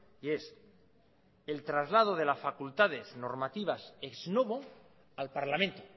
y es el traslado de las facultades normativas ex novo al parlamento